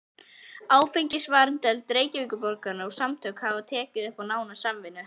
Áfengisvarnardeild Reykjavíkurborgar og samtökin hafa tekið upp nána samvinnu.